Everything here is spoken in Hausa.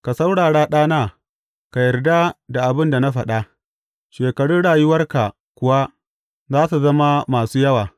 Ka saurara, ɗana, ka yarda da abin da na faɗa, shekarun rayuwarka kuwa za su zama masu yawa.